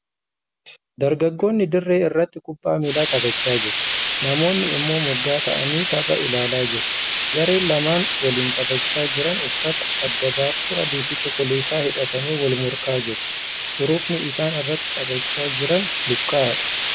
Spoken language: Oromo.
Dargaggoonni dirree irratti kubbaa miilaa taphachaa jiru. Namoonni immoo moggaa taa'anii tapha ilaalaa jiru. Gareen lamaan waliin taphachaa jiran uffata adda baaftuu adii fi cuquliisa hidhatanii wal morkaa jiru. Hurufni. isaan irratti taphachaa jiran luqqa'aadha.